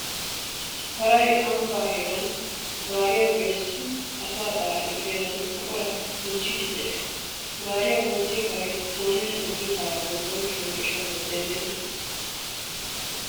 Paray ambbaa heeran gaariyan gelissin asa xalaala gidennan buquratakka goochchiiddi pe"ees. Gaariya goochchiya paray kooridi toggiyo paraadan bonchchuwaanne ishaluwaa demmenna.